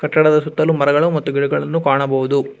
ಕಟ್ಟಡದ ಸುತ್ತಲು ಮರಗಳು ಮತ್ತು ಗಿಡಗಳನ್ನು ಕಾಣಬಹುದು.